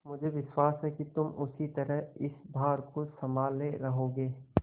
मुझे विश्वास है कि तुम उसी तरह इस भार को सँभाले रहोगे